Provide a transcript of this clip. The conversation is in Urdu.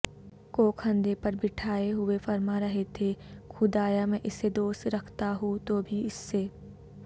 کوکندھے پربٹھائے ہوئے فرما رہے تھے خدایا میں اسے دوست رکھتا ہوں توبھی اس سے